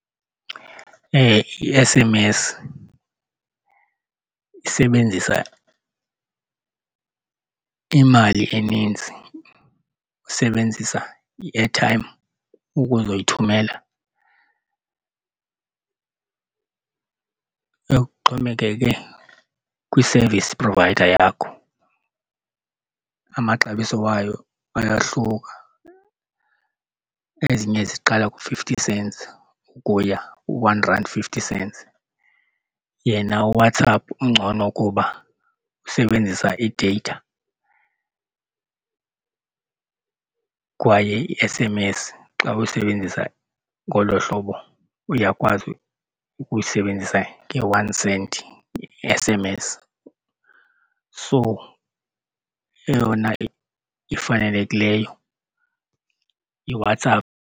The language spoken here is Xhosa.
I-S_M_S isebenzisa imali eninzi, isebenzisa i-airtime ukuzoyithumela kuxhomekeke kwi-service provider yakho. Amaxabiso wayo ayahluka. Ezinye ziqala ku-fifty cents ukuya ku-one rand fifty cents. Yena uWhatsApp ungcono ukuba usebenzisa i-data kwaye i-S_M_S xa uyisebenzisa ngolo hlobo uyakwazi ukuyisebenzisa nge-one cent i-S_M_S. So eyona ifanelekileyo yiWhatsApp.